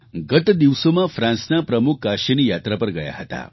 ગત દિવસોમાં ફ્રાન્સના પ્રમુખ કાશીની યાત્રા પર ગયા હતા